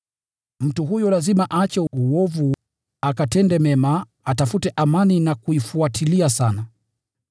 Mtu huyo lazima aache uovu, akatende mema; lazima aitafute amani na kuifuatilia sana.